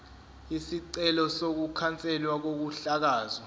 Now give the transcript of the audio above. isicelo sokukhanselwa kokuhlakazwa